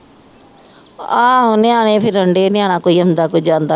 ਆਹੋ ਨਿਆਣੇ ਫੇਰ ਰਹਿੰਦੇ ਨਿਆਣਾ ਕੋਈ ਆਉਂਦਾ ਕੋਈ ਜਾਂਦਾ